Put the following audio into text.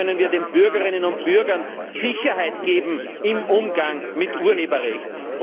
Wie können wir den Bürgerinnen und Bürgern Sicherheit geben im Umgang mit dem Urheberrecht?